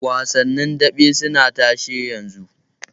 Wasannin daɓe basa tashe yanzu.